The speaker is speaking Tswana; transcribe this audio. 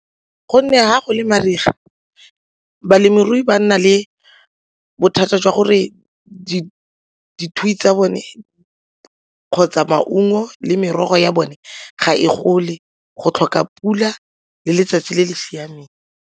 Gonne ga go le mariga balemirui ba nna le bothata jwa gore tsa bone kgotsa maungo le merogo ya bone ga e gole go tlhoka pula le letsatsi le le siameng.